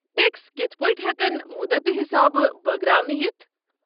Tax کتھ پٲٹھۍ ہٮ۪کن مُدتہٕ حسابہٕ بٲگراونہٕ یِتھ؟